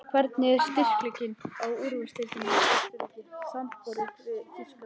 Hvernig er styrkleikinn á úrvalsdeildinni í Austurríki samanborið við Þýskaland?